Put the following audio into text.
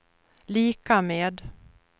lika med